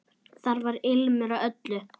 Þar var ilmur af öllu.